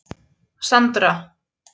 Sandra